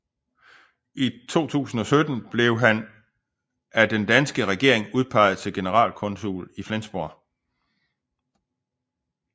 I 2017 blev han af den danske regering udpeget til generalkonsul i Flensborg